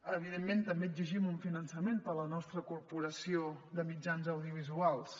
evidentment també exigim un finançament per a la nos· tra corporació de mitjans audiovisuals